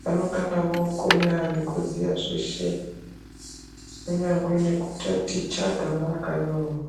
vanongana vookona nekuziya zveshe kunyangwe nekutaticha gama rakanyorwa.